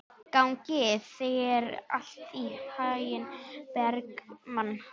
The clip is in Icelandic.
Gangi þér allt í haginn, Bergmann.